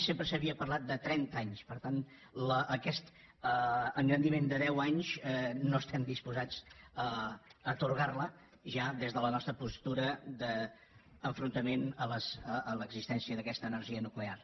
sempre s’havia parlat de trenta anys per tant aquest engrandiment de deu anys no estem disposats a atorgar lo ja des de la nostra postura d’enfrontament a l’existència d’aquesta energia nuclear